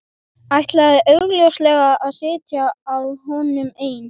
Ætlaði augljóslega að sitja að honum ein.